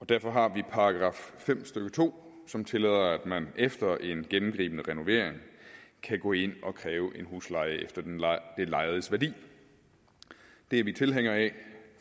derfor har vi § fem stykke to som tillader at man efter en gennemgribende renovering kan gå ind og kræve en husleje efter det lejedes værdi det er vi tilhængere af